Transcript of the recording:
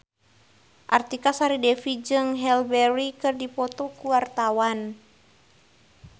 Artika Sari Devi jeung Halle Berry keur dipoto ku wartawan